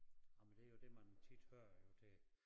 Ej men det jo det man tit hører jo til